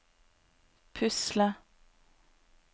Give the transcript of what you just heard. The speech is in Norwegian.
pusle